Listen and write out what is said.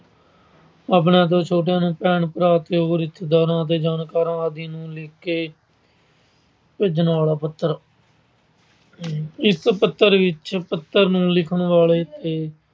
ਆਪਣੇ ਤੋਂ ਛੋਟੇ ਭੈਣ-ਭਰਾ, ਹੋਰ ਰਿਸ਼ਤੇਦਾਰ ਤੇ ਹੋਰ ਜਾਣਕਾਰਾਂ ਆਦਿ ਨੂੰ ਲਿਖਕੇ ਭੇਜਣ ਵਾਲਾ ਪੱਤਰ। ਇੱਕ ਪੱਤਰ ਵਿੱਚ ਪੱਤਰ ਨੂੰ ਲਿਖਣ ਵਾਲੇ ਤੇ